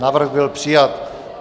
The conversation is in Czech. Návrh byl přijat.